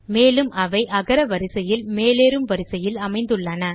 மேலும் அவை அகர வரிசையில் மேலேறும் வரிசையில் அமைந்துள்ளன